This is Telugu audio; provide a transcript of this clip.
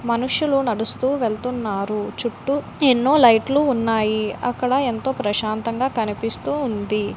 మనుషులు నడుస్తూ వెళ్తున్నారు చుట్టూ టిన్ను లైట్ లు ఉన్నాయి అక్కడ ఎంతో ప్రశాంతత--